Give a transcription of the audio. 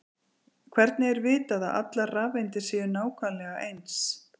Hvernig er vitað að allar rafeindir séu nákvæmlega eins?